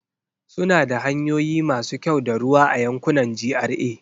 Suna da hanyoyi masu kyau da ruwa a yankunan GRA.